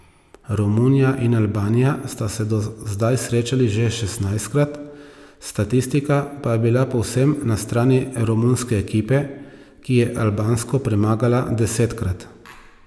Romunija in Albanija sta se do zdaj srečali že šestnajstkrat, statistika pa je bila povsem na strani romunske ekipe, ki je albansko premagala desetkrat.